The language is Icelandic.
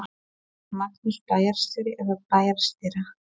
Magnús: Bæjarstjóri eða bæjarstýra?